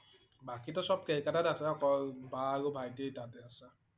বাকীটো সব কলিকতাত আছে। অকল বা আৰু ভাইটি তাতে আছে।